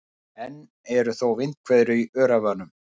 Enn eru þó vindhviður í Öræfunum